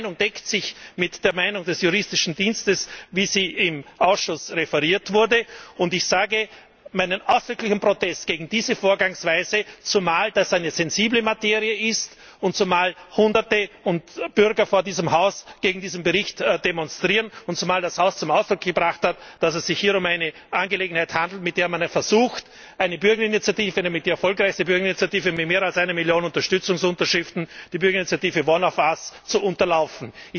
Meine Meinung deckt sich mit der Meinung des Juristischen Dienstes, wie sie im Ausschuss referiert wurde, und ich betone meinen ausdrücklichen Protest gegen diese Vorgangsweise, zumal das eine sensible Materie ist, zumal hunderte Bürger vor diesem Haus gegen diesen Bericht demonstrieren und zumal das Haus zum Ausdruck gebracht hat, dass es sich hier um eine Angelegenheit handelt, mit der man versucht, eine Bürgerinitiative, eine der erfolgreichsten Bürgerinitiativen mit mehr als einer Million Unterstützungsunterschriften, die Bürgerinitiative One of us, zu unterlaufen.